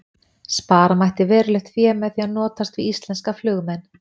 Spara mætti verulegt fé með því að notast við íslenska flugmenn.